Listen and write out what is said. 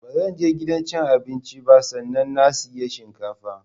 Ba zanje gidan cin abinci ba sannan na siyi shinkafa